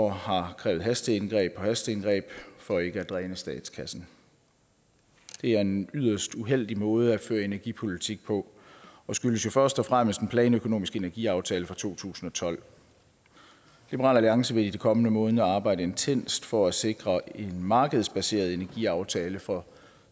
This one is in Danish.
har krævet hasteindgreb på hasteindgreb for ikke at dræne statskassen det er en yderst uheldig måde at føre energipolitik på og skyldes jo først og fremmest den planøkonomiske energiaftale fra to tusind og tolv liberal alliance vil i de kommende måneder arbejde intenst for at sikre en markedsbaseret energiaftale for